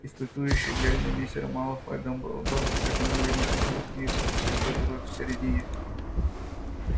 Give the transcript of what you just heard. испытующе глядя на мистера малфоя дамблдор протянул ему чёрную книжицу с большой дырой в середине